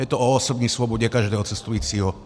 Je to o osobní svobodě každého cestujícího.